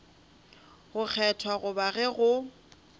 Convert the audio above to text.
go kgethwa goba ge go